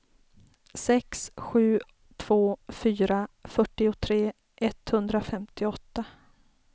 sex sju två fyra fyrtiotre etthundrafemtioåtta